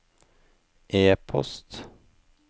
e-post